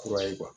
Kura ye